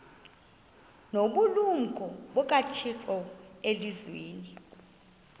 nobulumko bukathixo elizwini